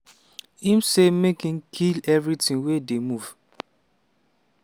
im say make im “kill evritin wey dey move”.